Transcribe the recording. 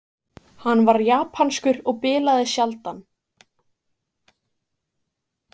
Hann var japanskur og bilaði sjaldan.